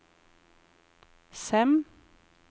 Sem